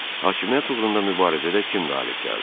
Hakimiyyət uğrunda mübarizədə kim qalib gəldi?